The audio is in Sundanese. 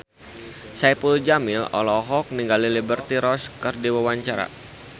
Saipul Jamil olohok ningali Liberty Ross keur diwawancara